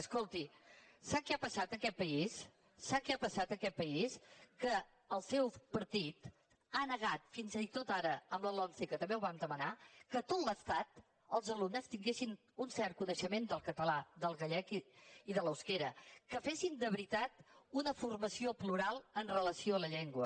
escolti sap què ha passat en aquest país sap que ha passat en aquest país que el seu partit ha negat fins i tot ara amb la lomce que també ho vam demanar que a tot l’estat els alumnes tinguessin un cert coneixement del català del gallec i de l’eusquera que fessin de veritat una formació plural amb relació a la llengua